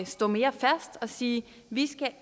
stå mere fast og sige vi